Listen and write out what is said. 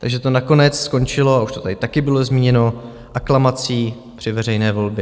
Takže to nakonec skončilo, a už to tady taky bylo zmíněno, aklamací při veřejné volbě.